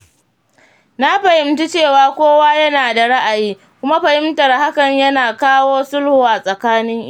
Na fahimci cewa kowa yana da ra’ayi, kuma fahimtar hakan yana kawo sulhu a tsakanin iyali.